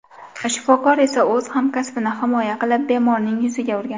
Shifokor esa o‘z hamkasbini himoya qilib, bemorning yuziga urgan.